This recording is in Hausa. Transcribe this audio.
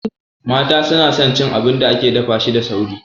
Mata su na son cin abin da ake dafa shi da sauri